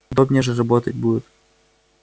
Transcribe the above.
удобнее же работать будет